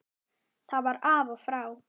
Það var af og frá.